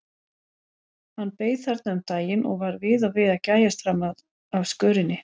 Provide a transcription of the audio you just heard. Hann beið þarna um daginn og var við og við að gægjast fram af skörinni.